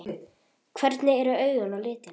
Hvernig eru augun á litinn?